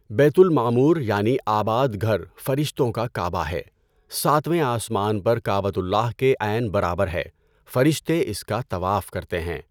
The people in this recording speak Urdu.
بیتُ المعمور یعنی آباد گھر فرشتوں کا کعبہ ہے۔ ساتویں آسمان پر کعبۃُ اللہ کے عین برابر ہے۔ فرشتے اس کا طواف کرتے ہیں۔